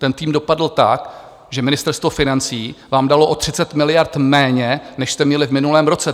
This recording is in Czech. Ten tým dopadl tak, že Ministerstvo financí vám dalo o 30 miliard méně, než jste měli v minulém roce.